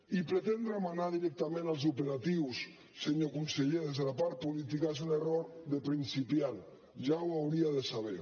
i pretendre manar directament els operatius senyor conseller des de la part política és un error de principiant ja ho hauria de saber